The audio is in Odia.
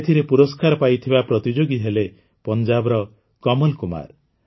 ଏଥିରେ ପୁରସ୍କାର ପାଇଥିବା ପ୍ରତିଯୋଗୀ ହେଲେ ପଞ୍ଜାବର କମଲ୍ କୁମାର